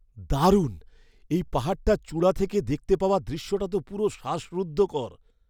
দারুণ! এই পাহাড়টার চূড়া থেকে দেখতে পাওয়া দৃশ্যটা তো পুরো শ্বাসরুদ্ধকর!